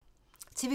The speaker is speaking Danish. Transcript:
TV 2